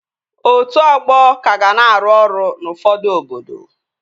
Otu ọgbọ ka ga na-arụ ọrụ n'ufọdụ obodo